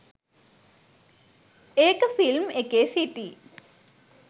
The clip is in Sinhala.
ඒක ෆිල්ම් එකේ සිටි